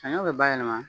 Saɲɔ bɛ bayɛlɛma